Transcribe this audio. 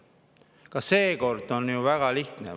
Ka seekord on asi ju väga lihtne.